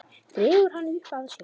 Dregur hana upp að sér.